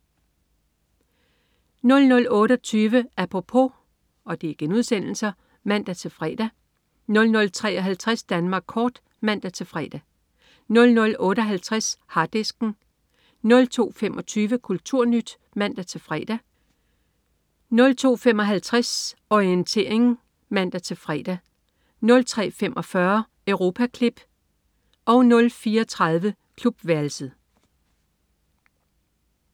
00.28 Apropos* (man-fre) 00.53 Danmark kort* (man-fre) 00.58 Harddisken* 02.25 KulturNyt* (man-fre) 02.55 Orientering* (man-fre) 03.45 Europaklip* 04.30 Klubværelset*